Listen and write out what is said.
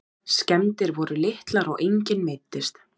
Skemmdir voru litlar og enginn meiddist